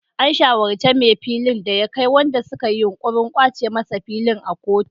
An shawarci mai filin da ya kai waɗanda suka yi yunkurin kwace masa fili a kotu.